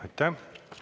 Aitäh!